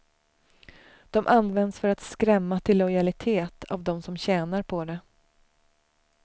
De används för att skrämma till lojalitet, av dem som tjänar på det.